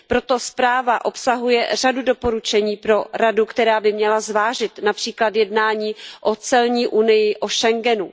Proto zpráva obsahuje řadu doporučení pro Radu, která by měla zvážit například jednání o celní unii, o Schengenu.